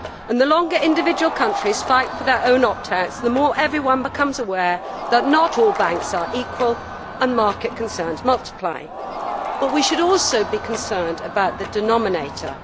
The longer individual countries fight for their own opt outs, the more everyone becomes aware that not all banks are equal and market concerns multiply. But we should also be concerned about the denominator.